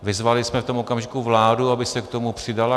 Vyzvali jsme v tom okamžiku vládu, aby se k tomu přidala.